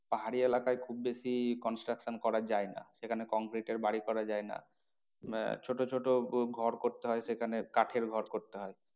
পাহাড়ি এলাকায় খুব বেশি construction করা যায় না। সেখানে concrete এর বাড়ি করা যায় না। আহ ছোটো ছোটো ঘর করতে হয় সেখানে কাঠের ঘর করতে হয়।